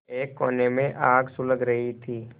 एक कोने में आग सुलग रही थी